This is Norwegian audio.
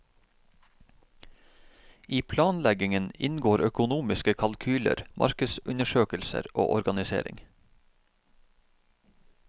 I planleggingen inngår økonomiske kalkyler, markedsundersøkelser og organisering.